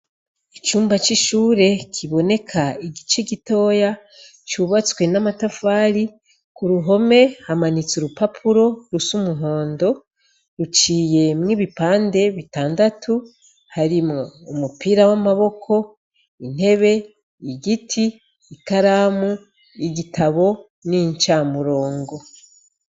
Icumba c'ishuri ,kiboneka igice gitoya, cubatswe n'amatafari, kuruhome hamanitse urupapuro rus' umuhondo, ruciyemwo ibipande bitandatu harimwo umupira w'amaboko, intebe , igiti, ikaramu, igitabo n'incamurongo.